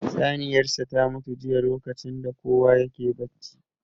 Saniyar sa ta mutu jiya lokacin da kowa yake bacci